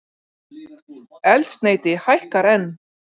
Eldsneyti hækkar enn